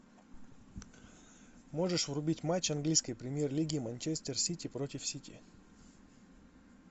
можешь врубить матч английской премьер лиги манчестер сити против сити